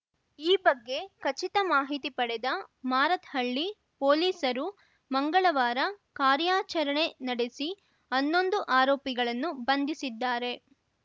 ಈ ಬಗ್ಗೆ ಖಚಿತ ಮಾಹಿತಿ ಪಡೆದ ಮಾರತ್‌ಹಳ್ಳಿ ಪೊಲೀಸರು ಮಂಗಳವಾರ ಕಾರ್ಯಾಚರಣೆ ನಡೆಸಿ ಹನ್ನೊಂದು ಆರೋಪಿಗಳನ್ನು ಬಂಧಿಸಿದ್ದಾರೆ